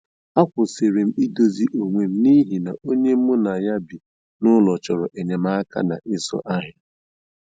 A kwụsịrị m idozi onwe m n’ihi na onye mu na ya bi n'ụlọ chọrọ enyemaka na ịzụ ahịa